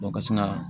ka sin ka